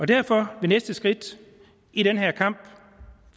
derfor vil næste skridt i den her kamp